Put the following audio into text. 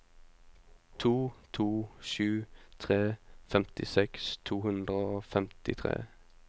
to to sju tre femtiseks to hundre og femtitre